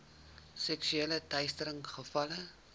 seksuele teistering gevalle